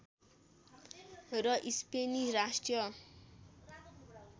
र स्पेनी राष्ट्रिय